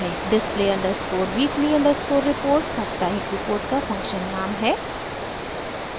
display underscore weekly underscore report साप्ताहिक report का function नाम है